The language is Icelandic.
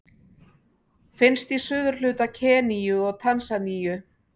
Finnst í suðurhluta Keníu og Tansaníu.